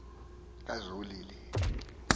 kazolile